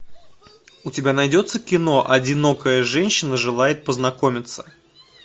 у тебя найдется кино одинокая женщина желает познакомиться